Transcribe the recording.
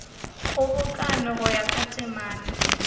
kgobokano go ya ka temana